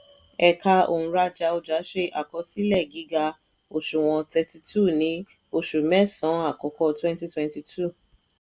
ẹ̀ka òǹrajà ọjà ṣe àkọsílẹ̀ gíga òṣùwọ̀n thirty two ní oṣù mẹ́sàn-án àkọ́kọ́ twenty twenty two.